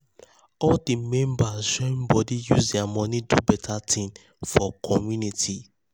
all di members join body use their money do better thing for community.